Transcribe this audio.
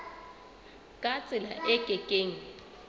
ka tsela e ke keng